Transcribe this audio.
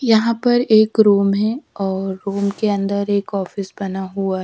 यहाँ पर एक रूम है और रूम के अंदर एक ऑफिस बना हुआ है।